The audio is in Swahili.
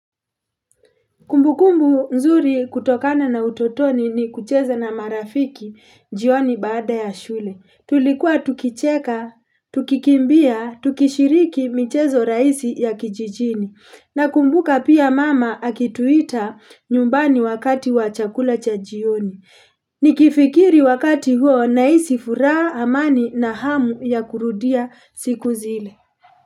Kumbukumbu nzuri kutokana na utotoni ni kucheza na marafiki jioni baada ya shule. Tulikuwa tukicheka, tukikimbia, tukishiriki mchezo rahisi ya kijijini. Na kumbuka pia mama akituita nyumbani wakati wa chakula cha jioni. Nikifikiri wakati huo nahisi furaha amani na hamu ya kurudia siku zile.